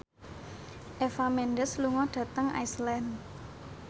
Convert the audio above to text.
Eva Mendes lunga dhateng Iceland